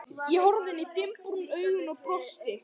Ég horfði inn í dimmbrún augun og brosti.